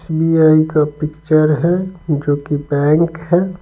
S_ B_ I_ का picture है जोकि बैंक है।